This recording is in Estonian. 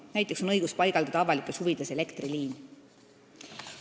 Näiteks on õigus paigaldada avalikes huvides elektriliin.